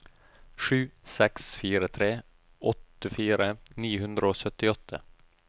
sju seks fire tre åttifire ni hundre og syttiåtte